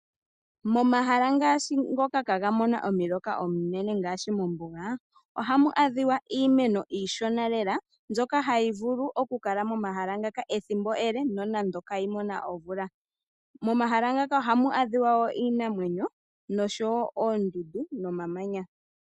Momahala ngashi ngoka iha ga mono omuloka omunene ngashi mombuga, ohamu adhiwa iimeno iishona lela mbyoka hayi vulu oku kala momahala ngaka ethimbo ele nonando kayi mona omvula. Momahala ngaka ohamu adhikwa wo iinamwenyo oshowo oondundu no mamanya.